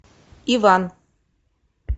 иван